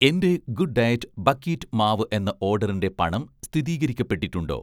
എൻ്റെ 'good diet' buckwheat മാവ് എന്ന ഓഡറിൻ്റെ പണം സ്ഥിതീകരിക്കപ്പെട്ടിട്ടുണ്ടോ?